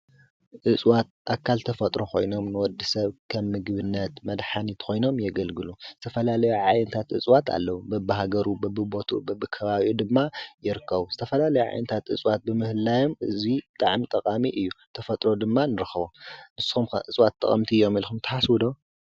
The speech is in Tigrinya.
እፁዋት ኣካል ተፈጥሮ ኾይኖም ንወዲ ሰብ ከ ምግብነት መድኃኒት ኾይኖም የገልግሉ ዝተፈላለይ ዓየንታት እጽዋት ኣለዉ ብብሃገሩ ብብቦቱ ብብከባብኡ ድማ የርከዉ ዝተፈላ ለይ ዓይንታት እጽዋት ብምህላዮም እዙይ ጠዕም ጠቓሚ እዩ ተፈጥሮ ድማ ንርኸ ንስም እፅዋት ጠቐምቲ እዮም ኢልኹም ተሓስዉዶ?